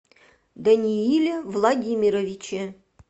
данииле владимировиче